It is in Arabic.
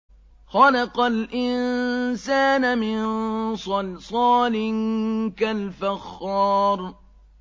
خَلَقَ الْإِنسَانَ مِن صَلْصَالٍ كَالْفَخَّارِ